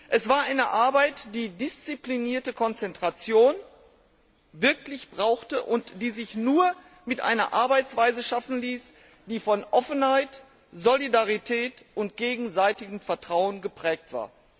Es war eine Arbeit, die eine disziplinierte Konzentration erforderte und die sich nur mit einer Arbeitsweise schaffen ließ, die von Offenheit, Solidarität und gegenseitigem Vertrauen geprägt war.